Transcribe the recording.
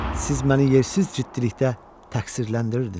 Siz məni yersiz ciddilikdə təqsirləndirirdiniz.